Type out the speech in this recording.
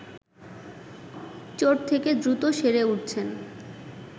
চোট থেকে দ্রুত সেরে উঠছেন